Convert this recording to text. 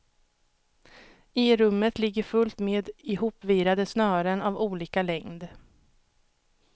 I rummet ligger fullt med ihopvirade snören av olika längd.